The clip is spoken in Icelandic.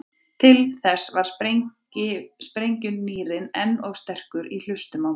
Til þess var sprengjugnýrinn enn of sterkur í hlustunum á mér.